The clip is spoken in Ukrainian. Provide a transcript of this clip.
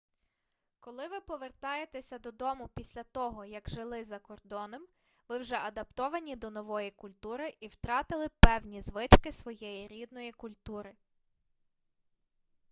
коли ви повертаєтеся додому після того як жили закордоном ви вже адаптовані до нової культури і втратили певні звички своєї рідної культури